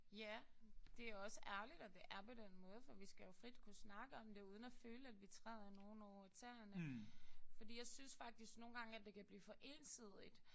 Ja. Det er også ærgerligt at det er på den måde for vi skal jo frit kunne snakke om det uden at føle at vi træder nogen over tæerne fordi jeg synes faktisk nogle gange det kan blive for ensidigt